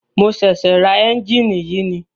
Mo ṣẹ̀ṣẹ̀ ra ẹ́njìnì yìí ni.